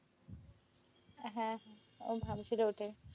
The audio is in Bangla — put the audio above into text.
হ্যাঁ, ও ভাবছিল ওটাই।